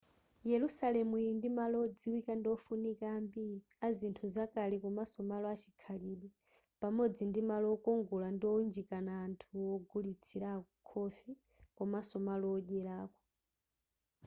yerusalemu ili ndi malo odziwika ndi ofunika ambiri azinthu zakale komanso malo achikhalidwe pamodzi ndi malo okongola ndi owunjikana anthu ogulitsirako khofi komanso malo odyerako